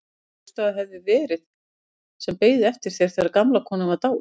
Hver hélstu að það hefði verið sem beið eftir þér þegar gamla konan var dáin?